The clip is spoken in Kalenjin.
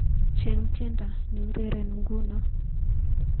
Cheng tiendo neureren nguno